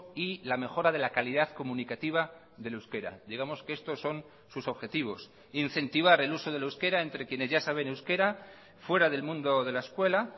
y la mejora de la calidad comunicativa del euskera digamos que estos son sus objetivos incentivar el uso del euskera entre quienes ya saben euskera fuera del mundo de la escuela